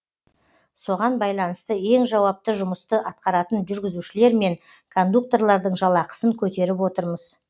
соған байлынысты ең жауапты жұмысты атқаратын жүргізушілер мен кондукторлардың жалақысын көтеріп отырмыз